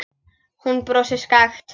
Hún brosir skakkt.